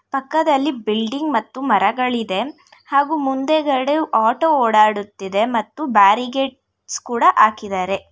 ಪಕ್ಕದಲ್ಲಿ ಬಿಲ್ಡಿಂಗ್ ಮತ್ತು ಮರಗಳಿದೆ ಹಾಗು ಮುಂದೆಗಡೆ ಆಟೋ ಓಡಾಡಡುತ್ತಿದೆ ಮತ್ತು ಬ್ಯಾರಿಗೇಟ್ಸ್ ಕೂಡಾ ಹಾಕಿದಾರೆ.